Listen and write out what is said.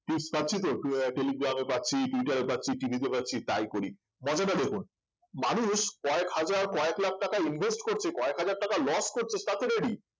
tips পাচ্ছি তো উম টেলিগ্রামে পাচ্ছি টুইটারে পাচ্ছি TV তে পাচ্ছি তাই করি মজাটা দেখুন মানুষ কয়েক হাজার কয়েক লাখ টাকা invest করছে কয়েক হাজার টাকা loss করছে তাতে ready